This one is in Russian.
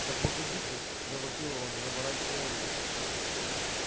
да погоди ты завопил рон выворачивая руль